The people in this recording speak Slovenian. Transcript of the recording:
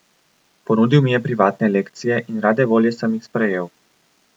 Ponudil mi je privatne lekcije in rade volje sem jih sprejel.